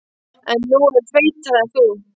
En hún er feitari en þú.